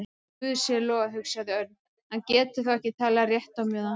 Guði sé lof, hugsaði Örn, hann getur þá ekki talað rétt á meðan.